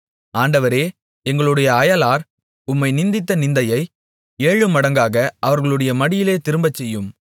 ஆண்டவரே எங்களுடைய அயலார் உம்மை நிந்தித்த நிந்தையை ஏழு மடங்காக அவர்களுடைய மடியிலே திரும்பச்செய்யும்